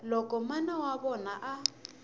loko mana wa vona a